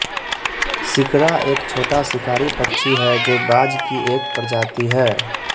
शिकरा एक छोटा शिकारी पक्षी है जो बाज़ की एक प्रजाति है